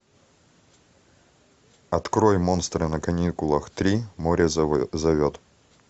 открой монстры на каникулах три море зовет